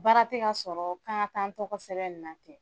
Baara tɛ ka sɔrɔ k'an ka taa an tɔgɔ sɛbɛn nin na ten.